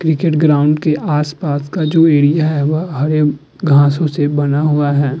Cricket ground के आस-पास का जो एरिया है वो हरे घासों से बना हुआ है।